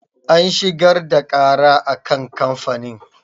An shigar da ƙara a kan kamfanin.